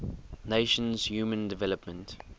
nations human development